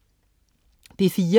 P4: